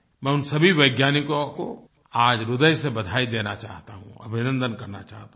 मैं उन सभी वैज्ञानिकों को आज ह्रदय से बधाई देना चाहता हूँ अभिनन्दन करना चाहता हूँ